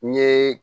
N ye